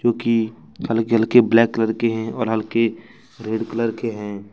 खेत में हल्के ब्लैक कलर के हैं और हल्के रेड कलर के हैं।